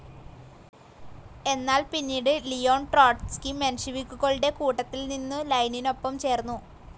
എന്നാൽ പിനീട് Leon Trotsky മെൻഷെവിക്കുകളുടെ കൂട്ടത്തിൽ നിന്നു ലൈനിനൊപ്പം ചേർന്നു.